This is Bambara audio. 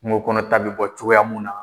Kungo kɔnɔ ta bi bɔ cogoyaya mun na.